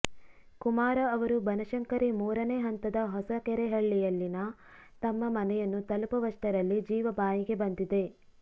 ಕುಮಾರ ಅವರು ಬನಶಂಕರಿ ಮೂರನೇ ಹಂತದ ಹೊಸಕೆರೆಹಳ್ಳಿಯಲ್ಲಿನ ತಮ್ಮ ಮನೆಯನ್ನು ತಲುಪುವಷ್ಟರಲ್ಲಿ ಜೀವ ಬಾಯಿಗೆ ಬಂದಿದೆ